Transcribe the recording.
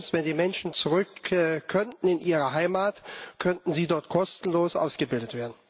Wenn die Menschen zurück könnten in ihre Heimat, könnten sie dort kostenlos ausgebildet werden.